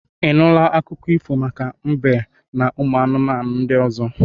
I nụla akụkọ ifo ahụ maka mbe n'ụmụ anụmanụ ndị ọzọ?